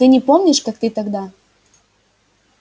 ты не помнишь как ты тогда